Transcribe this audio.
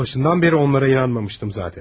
Mən ta başından bəri onlara inanmamışdım onsuz da.